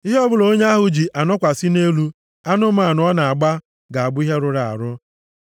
“ ‘Ihe ọbụla onye ahụ ji anọkwasị nʼelu anụmanụ ọ na-agba ga-abụ ihe rụrụ arụ.